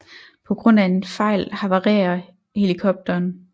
På grund af en fejl havarerer helikopteren